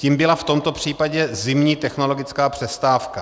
Tím byla v tomto případě zimní technologická přestávka.